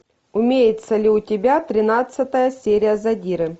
имеется ли у тебя тринадцатая серия задиры